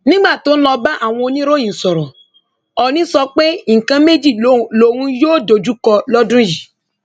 nígbà tó ń lọ bá àwọn oníròyìn sọrọ ọọ̀ni sọ pé nǹkan méjì lò lòun yóò dojúkọ lọdún yìí